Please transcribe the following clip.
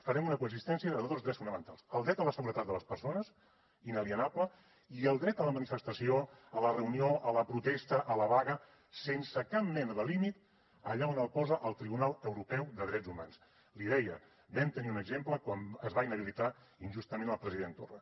farem una coexistència de dos drets fonamentals el dret a la seguretat de les persones inalienable i el dret a la manifestació a la reunió a la protesta a la vaga sense cap mena de límit allà on el posa el tribunal europeu de drets humans l’hi deia en vam tenir un exemple quan es va inhabilitar injustament el president torra